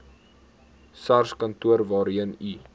sarskantoor waarheen u